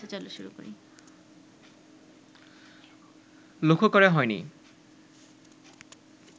লক্ষ্য করে হয়নি